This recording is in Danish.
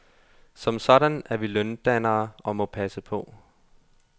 Som sådan er vi løndannere og må passe på.